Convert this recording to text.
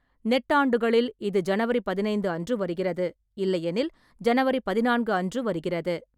நெட்டாண்டுகளில் இது ஜனவரி பதினைந்து அன்று வருகிறது, இல்லையெனில் ஜனவரி பதினான்கு அன்று வருகிறது.